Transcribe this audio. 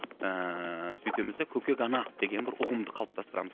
ііі бүйтеміз да көкек ана деген бір ұғымды қалыптастырамыз